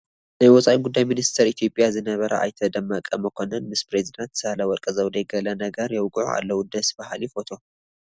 ናይ ወፃኢ ጉዳይ ሚኒስተር ኢትዮጵያ ዝነበሩ ኣይተ ደመቀ መኰንን ምስ ፕረዚደንት ሳህለወርቅ ዘውዴ ገለ ነገር የውግዑ ኣለዉ፡፡ ደስ በሃሊ ፎቶ፡፡